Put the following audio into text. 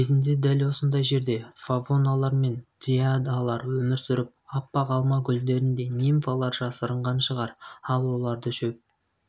кезінде дәл осындай жерде фавоналар мен дриадалар өмір сүріп аппақ алма гүлдеріндей нимфалар жасырынған шығар ал оларды шөп